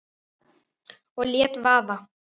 Og lét vaða.